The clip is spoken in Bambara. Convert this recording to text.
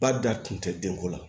Ba da tun tɛ denko la